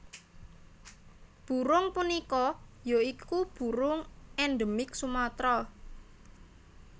Burung punika ya iku burung endemik Sumatra